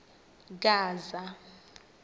gaza